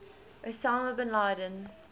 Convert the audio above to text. osama bin laden